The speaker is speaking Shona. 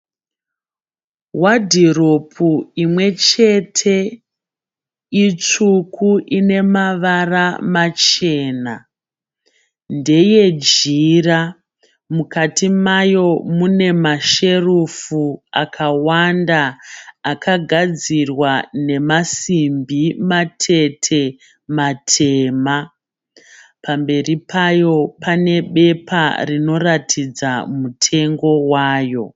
Wadhiropu imwe chete. Itsvuku ine mavara machena. Ndeyejira. Mukati mayo mune masherufu akawanda akagadzirwa nemasimbi matete matema. Pamberi payo pane bepa rinoratidza mutengo wayo.